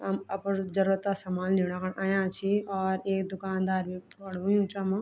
हम अपरू जरूरता समान लिणा खुण अयां छी और एक दुकानदार भी खडू हुयुं च वमा।